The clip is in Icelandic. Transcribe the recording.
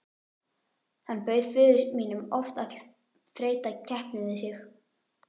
Hann bauð föður mínum oft að þreyta keppni við sig.